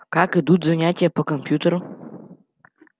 как идут занятия по компьютеру